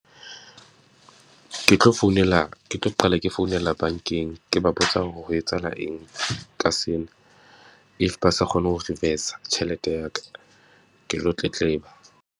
Ke tlo founela, ke tlo qala ke founela bankeng. Ke ba botsa hore ho etsahala eng ka sena. If ba sa kgone ho reverse-a tjhelete ya ka, ke lo tletleba.